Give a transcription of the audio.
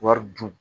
Wari dun